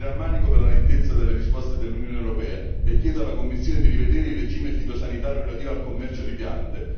Mi rammarico per la lentezza delle risposte dell'Unione europea e chiedo alla Commissione di rivedere il regime fitosanitario relativo al commercio di piante.